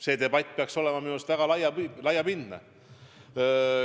See debatt peaks olema minu arust väga laiapindne.